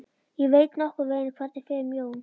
Ég veit nokkurn veginn hvernig fer um Jón.